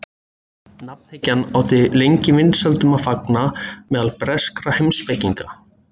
Nafnhyggjan átti lengi vinsældum að fagna meðal breskra heimspekinga.